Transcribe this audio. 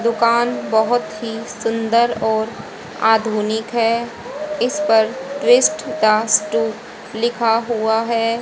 दुकान बहुत ही सुंदर और आधुनिक है इस पर ट्विस्ट दास टू लिखा हुआ है।